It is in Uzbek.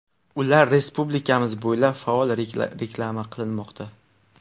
Ular respublikamiz bo‘ylab faol reklama qilinmoqda.